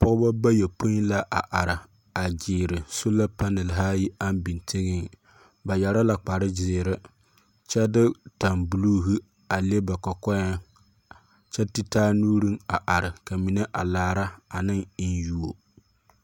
Pͻgebͻ bayopoi la a are, a gyeere soola panehe ayi aŋ biŋ teŋԑŋ. Ba yԑre la kpare gyeehe kyԑ de tambuluuhe a le ba kͻkͻԑ. kyԑ te taa nuuriŋ a are ka mine a laare ane eŋyuo